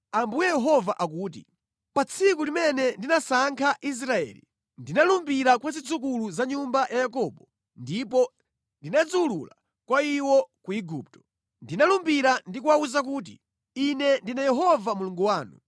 ‘Ambuye Yehova akuti: Pa tsiku limene ndinasankha Israeli, ndinalumbira kwa zidzukulu za nyumba ya Yakobo ndipo ndinadziwulula kwa iwo ku Igupto. Ndinalumbira ndi kuwawuza kuti: Ine ndine Yehova Mulungu wanu.